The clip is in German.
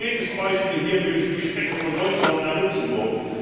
Ein konkretes Beispiel hierfür ist die Strecke von Deutschland nach Luxemburg.